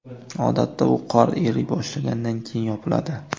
Odatda u qor eriy boshlagandan keyin yopiladi.